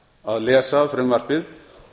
að lesa frumvarpið